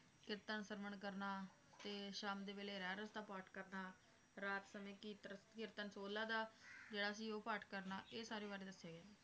ਕੀਰਤਨ ਸਰਵਣ ਕਰਨਾ, ਤੇ ਸ਼ਾਮ ਦੇ ਵੇਲੇ ਰਹਿਰਾਸ ਦਾ ਪਾਠ ਕਰਨਾ, ਰਾਤ ਸਮੇ ਕੀਤਰ ਕੀਰਤਨ ਸੋਹਲਾ ਦਾ ਜਿਹੜਾ ਕਿ ਉਹ ਪਾਠ ਕਰਨਾ, ਇਹ ਸਾਰੇ ਬਾਰੇ ਦੱਸਿਆ ਗਿਆ ਏ